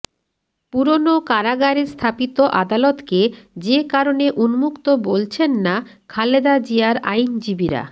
পুরনো কারাগারে স্থাপিত আদালতকে যে কারণে উন্মুক্ত বলছেন না খালেদা জিয়ার আইনজীবীরা